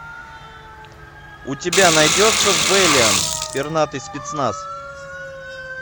у тебя найдется вэлиант пернатый спецназ